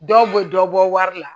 Dɔw bɛ dɔ bɔ wari la